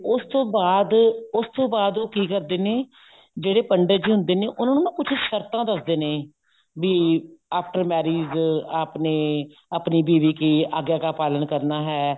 ਉਸ ਤੋਂ ਬਾਅਦ ਉਸ ਤੋਂ ਬਾਅਦ ਉਹ ਕੀ ਕਰਦੇ ਨੇ ਜਿਹੜੇ ਪੰਡਿਤ ਜੀ ਹੁੰਦੇ ਨੇ ਉਹ ਉਹਨਾ ਨੂੰ ਕੁੱਝ ਸ਼ਰਤਾਂ ਦੱਸਦੇ ਨੇ ਬੀ after marriage ਆਪਨੇ ਆਪਣੀ ਬੀਵੀ ਕੀ ਆਗਿਆ ਕਾ ਪਾਲਣ ਕਰਨਾ ਹੈ